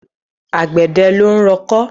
Àgbẹ̀dẹ ló ń rọkọ́.